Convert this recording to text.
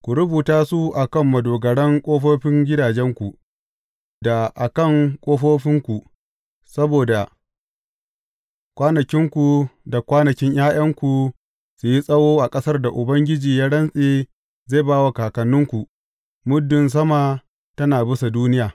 Ku rubuta su a kan madogaran ƙofofin gidajenku, da a kan ƙofofinku, saboda kwanakinku da kwanakin ’ya’yanku su yi tsawo a ƙasar da Ubangiji ya rantse zai ba wa kakanninku, muddin sama tana bisa duniya.